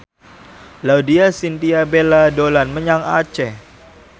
Laudya Chintya Bella dolan menyang Aceh